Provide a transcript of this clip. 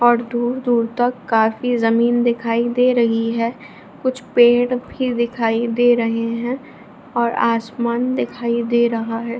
और दूर-दूर तक काफी जमीन दिखाई दे रही है कुछ पेड़ भी दिखाई दे रहे हैं और आसमान दिखाई दे रहा है।